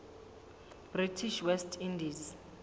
british west indies